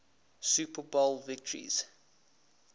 super bowl victories